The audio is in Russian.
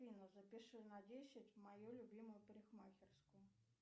афина запиши на десять в мою любимую парикмахерскую